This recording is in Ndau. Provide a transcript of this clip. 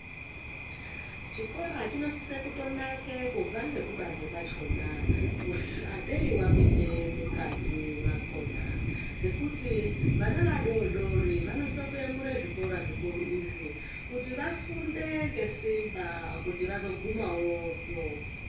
Chikora chinosise kutonake kubva ngekubanze kwachona ateyi wapinde mukati mwakona. Ngekuti vana adoodori vanosise kuyemura zvikora zvikuru izvi kuti vafunde ngesimba kuti vazogumawoyo.